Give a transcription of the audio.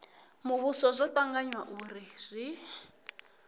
muvhuso zwo tanganywa uri zwi